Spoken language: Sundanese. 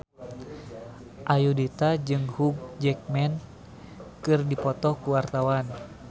Ayudhita jeung Hugh Jackman keur dipoto ku wartawan